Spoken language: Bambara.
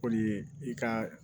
Kɔni ye i ka